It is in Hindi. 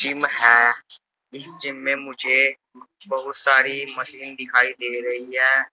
जिम है इस जिम में मुझे बहुत सारी मशीन दिखाई दे रही है।